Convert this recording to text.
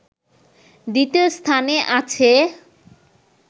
দ্বিতীয় স্থানে আছে